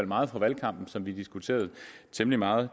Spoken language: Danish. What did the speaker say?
meget fra valgkampen og som vi diskuterede temmelig meget